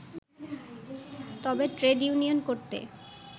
তবে trade union করতে